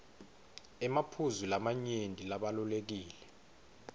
emaphuzu lamanyenti labalulekile